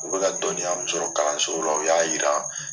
U bɛ ka dɔnniya min sɔrɔ kalanso la u y'a yira.